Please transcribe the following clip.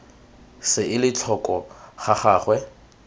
se ele tlhoko ga gagwe